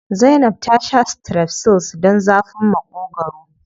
Zainab ta sha strepsils don zafin Maƙogwaro.